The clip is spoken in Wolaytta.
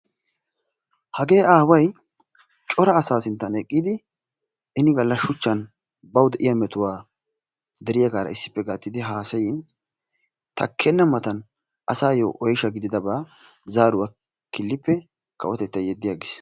Hagee aaway cora asaa sinttan eqqidi ini galla shuchchan bawu de'iya mettuwa deriyaaga issippe eqidi haasayin taakkenna matan asaayo oyshsha gididaba zaaruwa kilippe kawotettay yedi agiis.